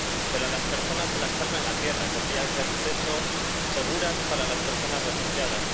pero a las personas se las salva en la tierra, con vías de acceso seguras para las personas refugiadas.